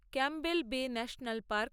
Campbell Bay National park